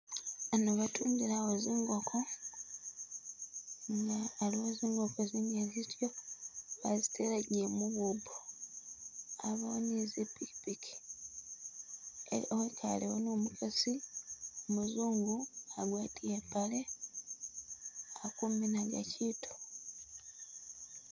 Ano batundilawo zingoko, aliwo zingoko zingali zityo, bazitelagile mu bubbo, abawo nizi pikipiki e- wekalewo ni umukasi umuzungu agwatile i pale akuminaga kyitu.